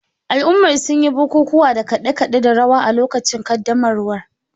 Al'ummar sun yi bukukuwa da kade-kade da rawa a lokacin ƙaddamarwar.